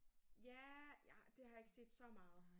Ja jeg det har jeg ikke set så meget